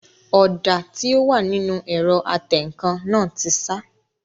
Ọ̀dà tí ó wà nínú ẹ̀rọ atẹǹkan náà ti sá